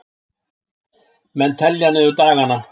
Menn telja niður dagana